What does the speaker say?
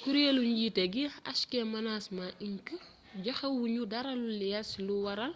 kureelu njiité gi hk management inc joxéwuñu dara lu leer ci lu wara